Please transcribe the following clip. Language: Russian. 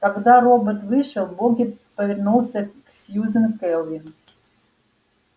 когда робот вышел богерт повернулся к сьюзен кэлвин